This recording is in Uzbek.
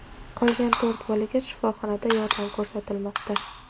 Qolgan to‘rt bolaga shifoxonada yordam ko‘rsatilmoqda.